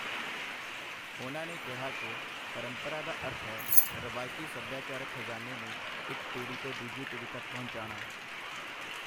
ਉਨ੍ਹਾਂ ਨੇ ਕਿਹਾ ਕਿ, ਪਰੰਪਰਾ ਦਾ ਅਰਥ ਹੈ- ਰਵਾਇਤੀ ਸਭਿਆਚਾਰਕ ਖ਼ਜ਼ਾਨੇ ਨੂੰ ਇੱਕ ਪੀੜ੍ਹੀ ਤੋਂ ਦੂਜੀ ਪੀੜ੍ਹੀ ਤੱਕ ਪਹੁੰਚਾਉਣਾ।